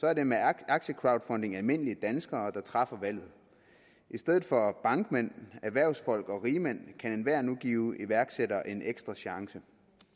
er det med aktiecrowdfunding almindelige danskere der træffer valget i stedet for bankmænd erhvervsfolk og rigmænd kan enhver nu give iværksættere en ekstra chance